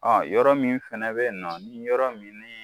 Aa yɔrɔ min fana bɛ yen nɔ ni yɔrɔ min ni